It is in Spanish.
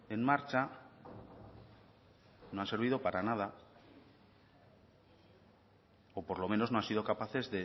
en marcha no han servido para nada o por lo menos no han sido capaces